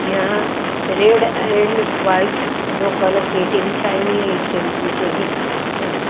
यहां red and white दो colour के इंटें बिछाई हुई है ईंट के बीचो बिच उहूं--